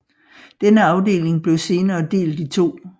Denne afdeling blev senere delt i to